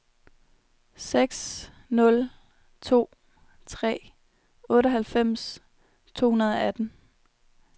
seks nul to tre otteoghalvfems to hundrede og atten